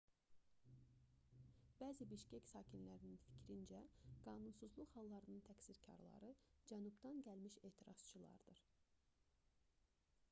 bəzi bişkek sakinlərinin fikrincə qanunsuzluq hallarının təqsirkarları cənubdan gəlmiş etirazçılardır